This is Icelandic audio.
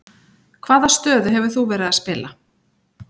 Hvaða stöðu hefur þú verið að spila?